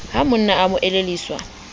ha monna a mo elelliswa